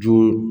Jo